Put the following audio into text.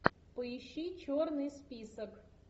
поищи черный список